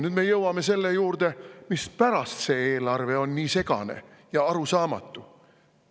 Nüüd me jõuame selle juurde, mispärast on see eelarve nii segane ja arusaamatu.